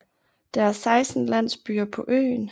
Der er 16 landsbyer på øen